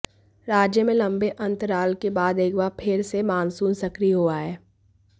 राज्य में लंबे अंतराल के बाद एक बार फिर से मानसून सक्रिय हुआ है